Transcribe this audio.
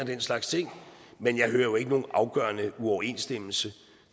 den slags ting men jeg hører ikke nogen afgørende uoverensstemmelse